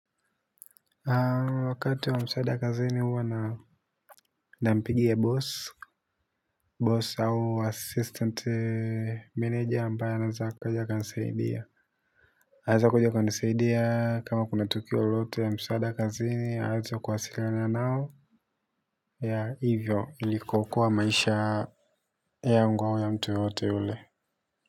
Wakati wa msaada kazini huwa na mpigia boss boss au assistant manager ambaye anaza akaja aka nisaidia haza kujoka nisaidia kama kuna tukio lote ya msaida kazini haza kuwasiriana nao ya hivyo ilikokuwa maisha yangu au ya mtu yoyote ule Muzika.